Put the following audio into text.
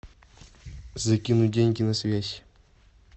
закинуть деньги на связь